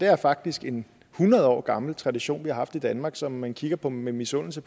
er faktisk en hundrede år gammel tradition vi har haft i danmark som man kigger på med misundelse